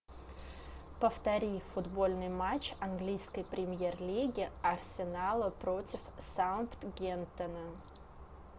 повтори футбольный матч английской премьер лиги арсенала против саутгемптона